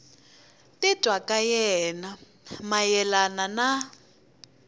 titwa ka yena mayelana na